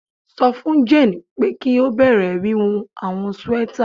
Sọ fun Jane pe ki o bẹrẹ wiwun awọn sweaters